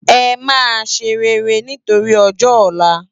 Emá séréré nitóri òjò òlá